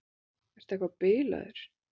Ertu eitthvað bilaður?